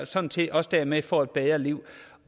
sådan set også dermed får et bedre liv